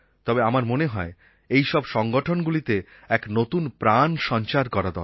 তবে আমার মনে হয় এই সব সংগঠনগুলিতে এক নতুন প্রাণ সঞ্চয় করা দরকার